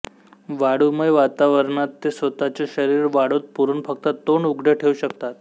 वाळूमय वातावरणात ते स्वतःचे शरीर वाळूत पुरून फक्त तोंड उघडे ठेवू शकतात